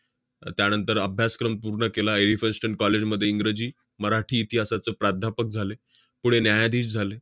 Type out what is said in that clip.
त~ त्यानंतर अभ्यासक्रम पूर्ण केला. edmiston college मध्ये इंग्रजी, मराठी, इतिहासाचं प्राध्यापक झाले. पुढे न्यायाधीश झाले.